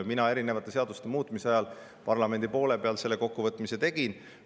Mina erinevate seaduste muutmise ajal parlamendis selle kokkuvõtmise tegin.